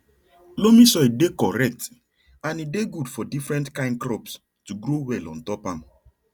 loamy soil dey correct and e dey good for different kind crops to grow well ontop am